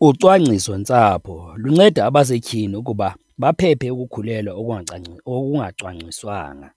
Ucwangcisontsapho lunceda abasetyhini ukuba baphephe ukukhulelwa okungacwangciswanga